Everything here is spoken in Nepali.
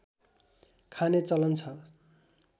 खाने चलन छ